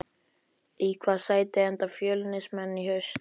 Í hvaða sæti enda Fjölnismenn í haust?